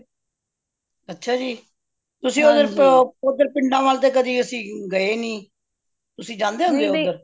ਅੱਛਾ ਜੀ ਤੁਸੀ ਓਹੱਦਰ ਪਿੰਡਾਂ ਵੱਲ ਤੇ ਕਦੀ ਅੱਸੀ ਗਏ ਨਹੀਂ ਤੁਸੀ ਜਾਂਦੇ ਹੁੰਦੇ ਹੋ